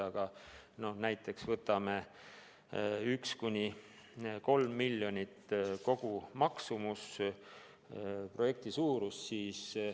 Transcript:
Võtame näiteks 1–3 miljoni eurose kogumaksumusega projekti.